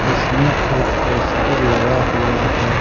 उसमें एक पोस्टर लगा हुआ है।